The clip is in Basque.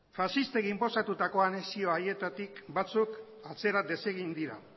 faxistek inposatutako anexio haietatik batzuk atzera desegin dira